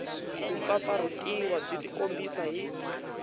ku pfapfarhutiwa byi tikombisa hi